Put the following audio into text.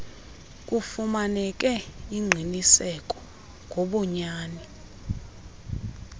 kufumaneke ingqiniseko ngobunyani